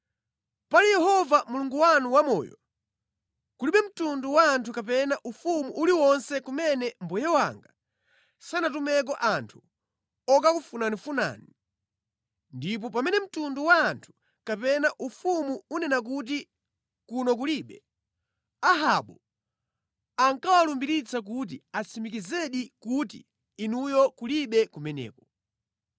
Pali Yehova Mulungu wanu wamoyo, kulibe mtundu wa anthu kapena ufumu uliwonse kumene mbuye wanga sanatumeko anthu okakufunafunani. Ndipo pamene mtundu wa anthu kapena ufumu unena kuti kuno kulibe, Ahabu ankawalumbiritsa kuti atsimikizedi kuti inuyo kulibe kumeneko.